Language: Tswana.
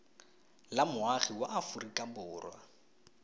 la moagi wa aforika borwa